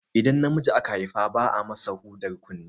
Idan namiji aka Haifa ba a masa hudar kunne